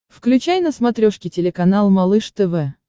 включай на смотрешке телеканал малыш тв